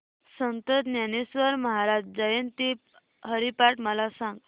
संत ज्ञानेश्वर महाराज जयंती हरिपाठ मला सांग